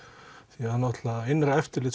því að innra eftirlit